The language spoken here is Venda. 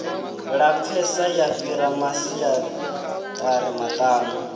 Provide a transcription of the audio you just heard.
lapfesa ya fhira masiazari maṱanu